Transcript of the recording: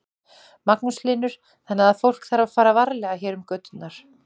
Magnús Hlynur: Þannig að fólk þarf að fara varlega hér um göturnar?